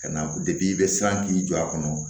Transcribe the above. Ka na i bɛ siran k'i jɔ a kɔnɔ